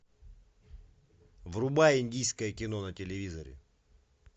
врубай индийское кино на телевизоре